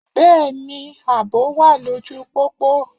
Bẹ́ẹ̀ni, àbò wà lóju pópó.